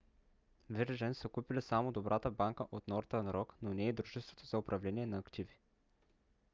virgin са купили само добрата банка от northern rock но не и дружеството за управление на активи